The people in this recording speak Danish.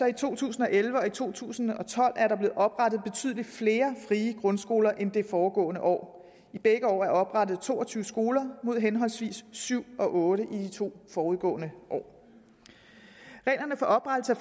i to tusind og elleve og to tusind og tolv oprettet betydelig flere frie grundskoler end i det foregående år i begge år er der oprettet to og tyve skoler mod henholdsvis syv og otte i de to forudgående år reglerne for oprettelse af